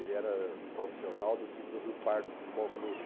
Ele era profissional do time do Rio Pardo Futebol Clube.